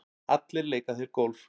Allir leika þeir golf.